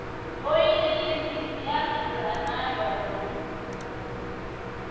oyili yi mbisi ya durha na yona